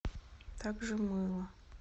также мыло